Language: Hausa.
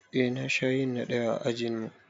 Eh na sha yin na ɗaya a ajinmu